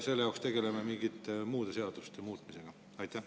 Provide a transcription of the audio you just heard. Või me peame selleks mingeid muid seadusi muutma?